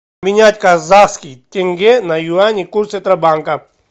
менять казахский тенге на юани курс центробанка